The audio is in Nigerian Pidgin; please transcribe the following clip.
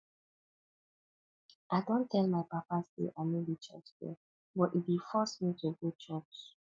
i don tell my papa say i no be church girl but e dey force me to go church